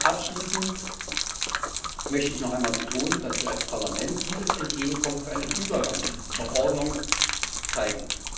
Abschließend möchte ich noch einmal betonen, dass wir als Parlament dieses Entgegenkommen für eine Übergangsverordnung zeigen.